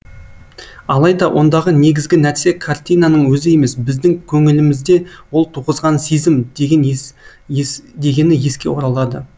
алайда ондағы негізгі нәрсе картинаның өзі емес біздің көңілімізде ол туғызған сезім дегені еске оралады